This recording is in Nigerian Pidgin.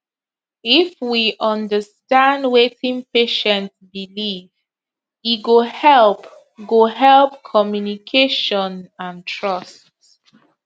if we understand wetin patient believe e go help go help communication and trust